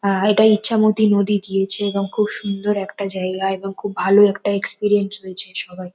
আহ এটা ইচ্ছামতি নদী গিয়েছে এবং খুব সুন্দর একটা জায়গা এবং খুব ভালো একটা এক্সপিরিয়েন্স হয়েছে সবার।